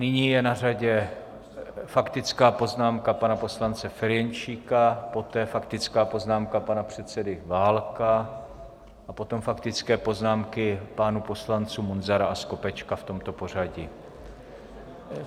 Nyní je na řadě faktická poznámka pana poslance Ferjenčíka, poté faktická poznámka pana předsedy Válka a potom faktické poznámky pánů poslanců Munzara a Skopečka, v tomto pořadí.